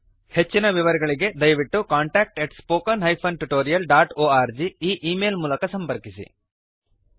ಹೆಚ್ಚಿನ ವಿವರಗಳಿಗೆ ದಯವಿಟ್ಟು contactspoken tutorialorg ಈ ಈ ಮೇಲ್ ಮೂಲಕ ಸಂಪರ್ಕಿಸಿ